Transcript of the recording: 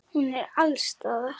Hún er alls staðar.